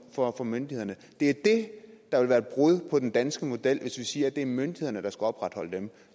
for for myndighederne det er det der vil være et brud på den danske model altså hvis vi siger at det er myndighederne der skal opretholde dem